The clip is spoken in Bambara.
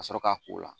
Ka sɔrɔ ka k'o la